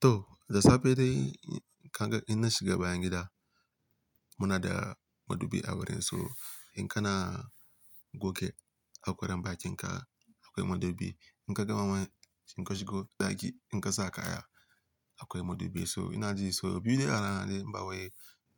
To, da safe dai ka ga ina shiga bayan gida muna da madubi a wurin. To in kana goge hakoran bakin ka akwai madubi, in ka gama ma shin ka shigo daki in ka sa kaya akwai madubi. To ina ji so biyu a rana dai in bawai